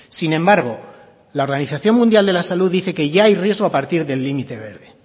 sin embargo la organización mundial de la salud dice que ya hay riesgo a partir del límite verde